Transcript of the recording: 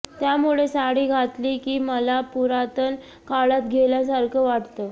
त्यामुळे साडी घातली की मला पुरातन काळात गेल्यासारखं वाटतं